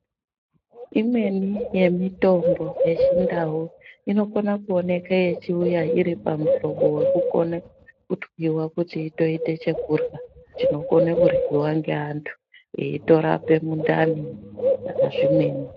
Imweni yemitombo yechindau inokona kuoneka yechiuya iri pamuhlobo wekukone kutwiwa kuti itoite chekurya chinokone kuryiwa ngeantu veitorape mundani kana zvimweni.